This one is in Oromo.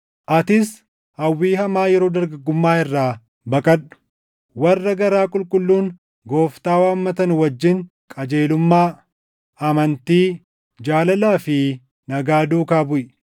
Atis hawwii hamaa yeroo dargaggummaa irraa baqadhu; warra garaa qulqulluun Gooftaa waammatan wajjin qajeelummaa, amantii, jaalalaa fi nagaa duukaa buʼi.